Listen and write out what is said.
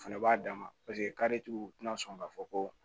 O fɛnɛ b'a dama paseke u tina sɔn k'a fɔ ko